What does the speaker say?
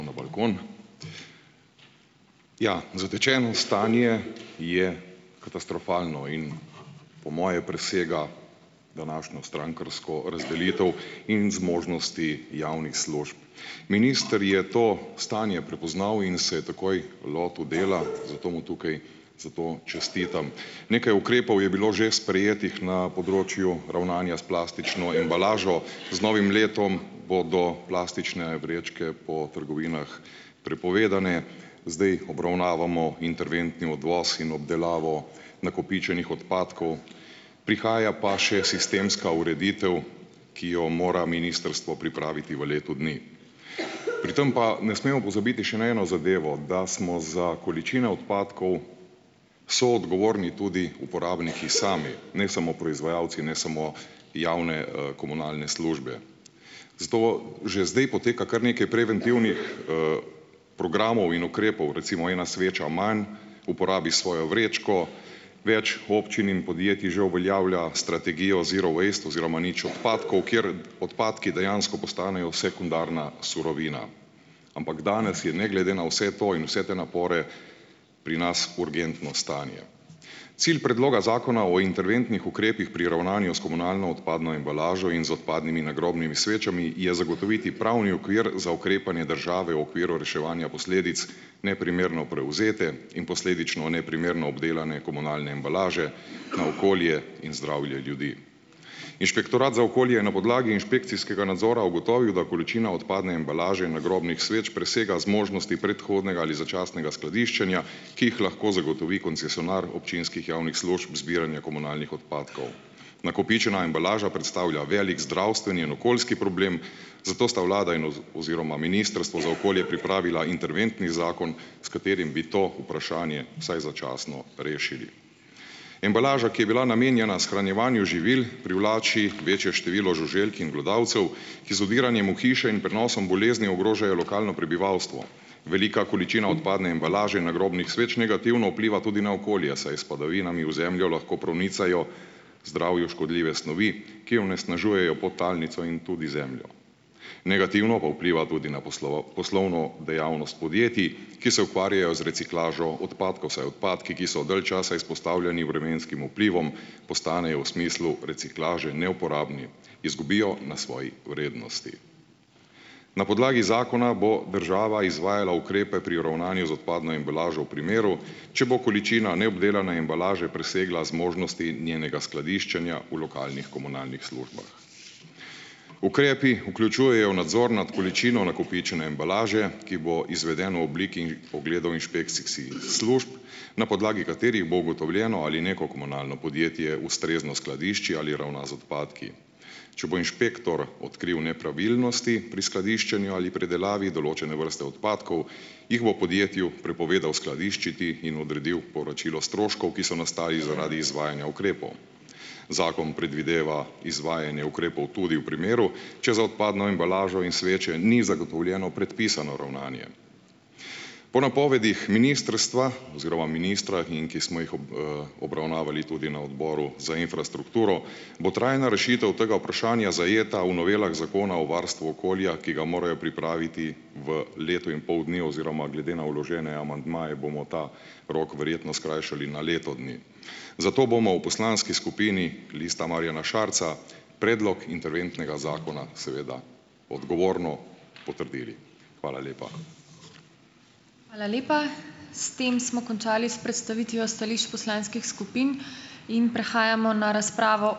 na balkon. Ja, zatečeno stanje je katastrofalno in po moje presega današnjo strankarsko razdelitev in zmožnosti javnih služb. Minister je to stanje prepoznal in se takoj lotil dela, zato mu tukaj za to čestitam. Nekaj ukrepov je bilo že sprejetih ne področju ravnanja s plastično embalažo. Z novim letom bodo plastične vrečke po trgovinah prepovedane. Zdejih obravnavamo interventni odvoz in obdelavo nakopičenih odpadkov, prihaja pa še sistemska ureditev , ki jo mora ministrstvo pripraviti v letu dni. Pri tem pa ne smemo pozabiti še na eno zadevo, da smo za količine odpadkov soodgovorni tudi uporabniki sami , ne samo proizvajalci, ne samo javne, komunalne službe. Zato že zdaj poteka kar nekaj preventivnih, programov in ukrepov, recimo Ena sveča manj, Uporabi svojo vrečko. Več občin in podjetij že uveljavlja strategijo zero waste oziroma nič odpadkov, kjer odpadki dejansko postanejo sekundarna surovina, ampak danes je ne glede na vse to in vse te napore pri nas urgentno stanje. Cilj predloga Zakona o interventnih ukrepih pri ravnanju s komunalno odpadno embalažo in z odpadnimi nagrobnimi svečami je zagotoviti pravni okvir za ukrepanje države v okviru reševanja posledic neprimerno prevzete in posledično neprimerno obdelane komunalne embalaže na okolje in zdravje ljudi. Inšpektorat za okolje je na podlagi inšpekcijskega nadzora ugotovil, da količina odpadne embalaže nagrobnih sveč presega zmožnosti predhodnega ali začasnega skladiščenja, ki jih lahko zagotovi koncesionar občinskih javnih služb zbiranja komunalnih odpadkov. Nakopičena embalaža predstavlja velik zdravstveni in okoljski problem, zato sta vlada in oziroma Ministrstvo za okolje pripravila interventni zakon, s katerim bi to vprašanje vsaj začasno rešili. Embalaža, ki je bila namenjena shranjevanju živil, privlači večje število žuželk in glodavcev, ki z vdiranjem v hiše in prenosom bolezni ogrožajo lokalno prebivalstvo. Velika količina odpadne embalaže nagrobnih sveč negativno vpliva tudi na okolje, saj s padavinami v zemljo lahko pronicajo zdravju škodljive snovi, ki onesnažujejo podtalnico in tudi zemljo. Negativno pa vpliva tudi na poslovno dejavnost podjetij, ki se ukvarjajo z reciklažo odpadkov, saj odpadki, ki so dalj časa izpostavljeni vremenskim vplivom, postanejo v smislu reciklaže neuporabni, izgubijo na svoji vrednosti. Na podlagi zakona bo država izvajala ukrepe pri ravnanju z odpadno embalažo v primeru, če bo količina neobdelane embalaže presegla zmožnosti njenega skladiščenja v lokalnih komunalnih službah. Ukrepi vključujejo nadzor nad količino nakopičene embalaže , ki bo izveden v obliki na podlagi katerih bo ugotovljeno, ali neko komunalno podjetje ustrezno skladišči ali ravna z odpadki. Če bo inšpektor odkril nepravilnosti pri skladiščenju ali predelavi določene vrste odpadkov, jih bo podjetju prepovedal skladiščiti in odredil povračilo stroškov, ki so nastali zaradi izvajanja ukrepov . Zakon predvideva izvajanje ukrepov tudi v primeru, če za odpadno embalažo in sveče ni zagotovljeno predpisano ravnanje. Po napovedih ministrstva oziroma ministra, in ki smo jih obravnavali tudi na odboru za infrastrukturo, bo trajna rešitev tega vprašanja zajeta v novelah zakona o varstvu okolja, ki ga morajo pripraviti v letu in pol dni oziroma glede na vložene amandmaje bomo ta rok verjetno skrajšali na leto dni. Zato bomo v poslanski skupini Lista Marjana Šarca predlog interventnega zakona seveda odgovorno potrdili. Hvala lepa.